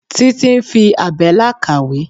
Títí ń fi àbẹ́là kàwé.